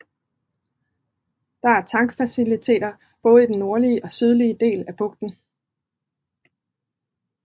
Der er tankfaciliteter både i den nordlige og sydlige del af bugten